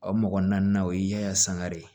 O mɔgɔ naani na o ye ya sangare